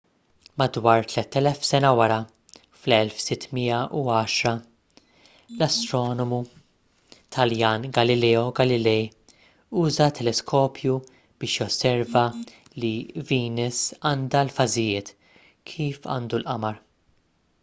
madwar tlett elef sena wara fl-1610 l-astronomu taljan galileo galilei uża teleskopju biex josserva li venus għandha l-fażijiet kif għandu l-qamar